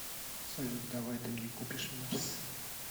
салют давай ты мне купишь мерс